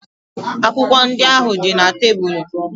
Akwụkwọ ndị ahụ dị na tebụl.